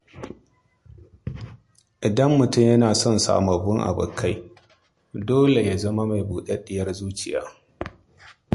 Idan mutum yana son yin sababbin abokai, dole ya zama mai buɗaɗɗiyar zuciya.